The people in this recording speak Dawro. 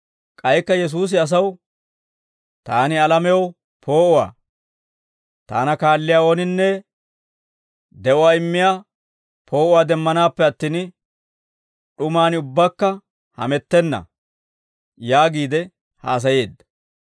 K'aykka Yesuusi asaw, «Taani alamew poo'uwaa; Taana kaalliyaa ooninne de'uwaa immiyaa poo'uwaa demmanaappe attin, d'umaan ubbaakka hamettenna» yaagiide haasayeedda.